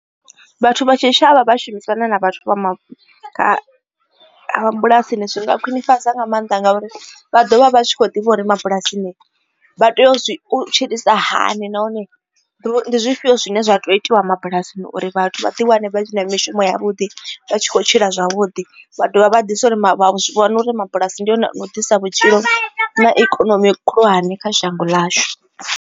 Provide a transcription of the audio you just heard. Vhathu vha tshitshavha vha shumisana na vhathu vha mabulasini zwi nga khwinifhadzwa nga maanḓa ngauri vha ḓovha vha zwi kho ḓivha uri mabulasini vha tea u tshilisa hani nahone ndi zwifhio zwine zwa tea u itiwa mabulasini uri vhathu vha ḓi wane vha tshi na mishumo ya vhuḓi vha tshi kho tshila zwavhuḓi vha dovha vha ḓivha uri zwi vhona uri mabulasi ndi one u ḓisa vhutshilo na ikonomi khulwane kha shango ḽashu.